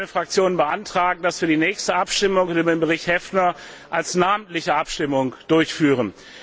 Ich möchte für meine Fraktion beantragen, dass wir die nächste Abstimmung über den Bericht Häfner als namentliche Abstimmung durchführen.